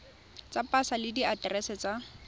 tsa pasa le diaterese tsa